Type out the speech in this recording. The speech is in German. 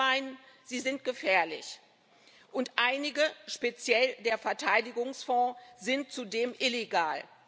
Doch wir meinen, sie sind gefährlich, und einige speziell der Verteidigungsfonds sind zudem illegal.